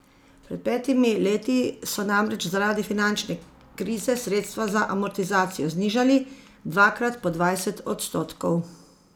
Pred petimi leti so namreč zaradi finančne krize sredstva za amortizacijo znižali, dvakrat po dvajset odstotkov.